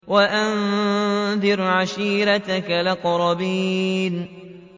وَأَنذِرْ عَشِيرَتَكَ الْأَقْرَبِينَ